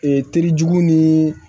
Ee terijugu ni